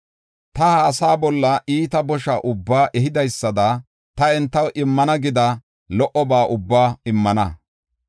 “Ta ha asaa bolla iita bosha ubbaa ehidaysada ta entaw immana gida lo77oba ubbaa immana.